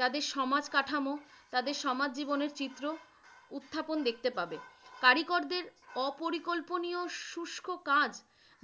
তাদের সমাজ ্কাঠামো, তাদের সমাজ জীবনের চিত্র উত্থাপন দেখতে পাবে। কারিগরদের অপরিকল্পনিয় শুষ্ক কাজ